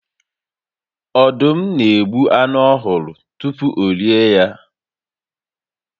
Ọdụm n'egbu anụ ọhụrụ tupu orie ya